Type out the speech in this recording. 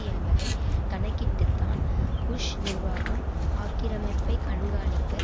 என்பதை கணக்கிட்டுத்தான் புஷ் நிர்வாகம் ஆக்கிரமிப்பை கண்காணிக்க